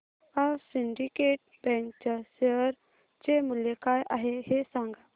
आज Syndicate Bank च्या share चे मूल्य काय आहे हे सांगा